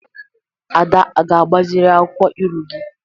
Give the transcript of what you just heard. Ada a ga-agbaziri akwụkwọ ilu gị?